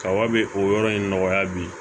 Kaba be o yɔrɔ in nɔgɔya bi